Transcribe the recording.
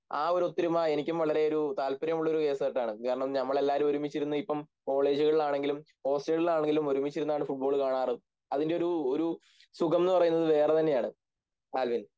ആ ഒരു ഒത്തൊരുമ എനിക്കും വളരെയൊരു താല്പര്യമുള്ളൊരു കേസുകെട്ടാണ് കാരണം ഞങ്ങളെല്ലാരും ഒരുമിച്ചിരുന്ന് ഇപ്പം കോളേജുകളിലാണെങ്കിലും ഹോസ്റ്റലുകളിലാണെങ്കിലും ഒരുമിച്ചിരുന്നാണ് ഫുട്‍ബോള് കാണാറ് അതിൻ്റെ ഒരു ഒരു സുഖം എന്നുപറയുന്നത് വേറെതന്നെയാണ് ആൽവിൻ